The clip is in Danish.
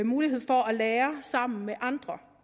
mulighed for at lære sammen med andre